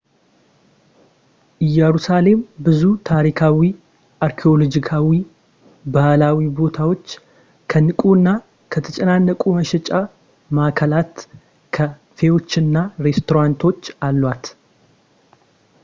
ኢየሩሳሌም ብዙ ታሪካዊ፣ አርኪኦሎጂካዊ ፣ ባህላዊ ቦታዎች ከንቁ እና ከተጨናነቁ የመሸጫ መዓከላት፣ ካ ፌዎች እና ሬስቶራንቶች አሏት